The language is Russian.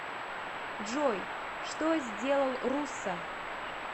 джой что сделал руссо